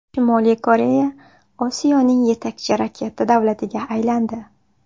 Shimoliy Koreya Osiyoning yetakchi raketa davlatiga aylandi.